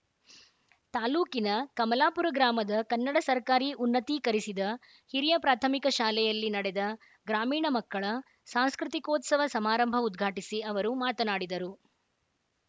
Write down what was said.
ತಾಲೂಕಿನ ಕಮಲಾಪುರ ಗ್ರಾಮದ ಕನ್ನಡ ಸರ್ಕಾರಿ ಉನ್ನತೀಕರಿಸಿದ ಹಿರಿಯ ಪ್ರಾಥಮಿಕ ಶಾಲೆಯಲ್ಲಿ ನಡೆದ ಗ್ರಾಮೀಣ ಮಕ್ಕಳ ಸಾಂಸ್ಕೃತಿಕೋತ್ಸವ ಸಮಾರಂಭ ಉದ್ಘಾಟಿಸಿ ಅವರು ಮಾತನಾಡಿದರು